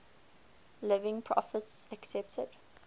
living prophets accepted